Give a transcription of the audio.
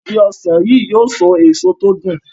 Ìgi ọsán yi yóò so èso tí o dùn.